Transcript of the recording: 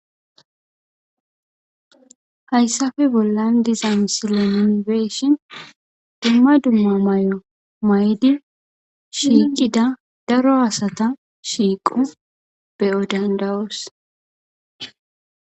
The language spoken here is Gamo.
hayssafe bollan dizan silo minibeshin dumma dumma may7o maydi shiiqida daro asata shiiqu beyodandawos